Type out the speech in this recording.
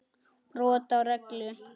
Brot á reglu.